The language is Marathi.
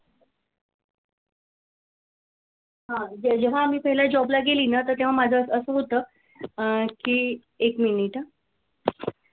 हा जेव्हा मी पहिल्या job ला गेली ना तेव्हा माझं असं होतं. अं की एक मिनिटं हा